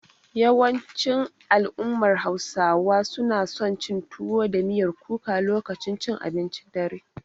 Yawancin al'ummar Hausawa suna son cin tuwo da miyar kuka lokacin cin abincin dare.